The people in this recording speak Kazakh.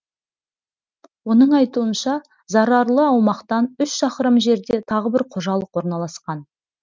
оның айтуынша зарарлы аумақтан үш шақырым жерде тағы бір қожалық орналасқан